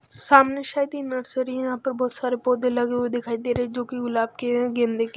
सामने शायद ये नर्सरी है यहां पर बोहोत सारे पौधे लगे हुए दिखाई दे रे हैं जो की गुलाब के हैं गंदे के--